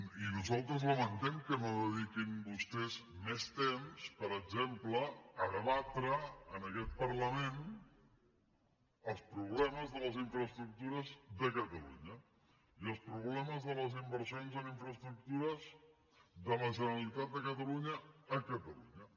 i nosaltres lamentem que no dediquin vostès més temps per exemple a debatre en aquest parlament els problemes de les infraestructures de catalunya i els problemes de les inversions en infraestructures de la generalitat de catalunya a catalunya